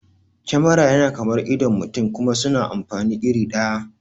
Kemara yana kamar idon mutane kuma suna amfani iri ɗaya